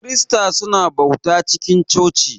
kirista su na bauta cikin coci.